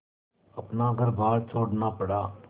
अपना घरबार छोड़ना पड़ा